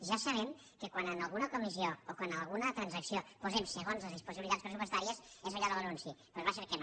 ja sabem que quan en alguna transacció posem segons les disponibilitats pressupostàries és allò de l’anunci pues va a ser que no